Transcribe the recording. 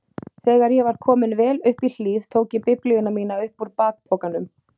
Þegar ég var kominn vel upp í hlíð tók ég biblíuna mína upp úr bakpokanum.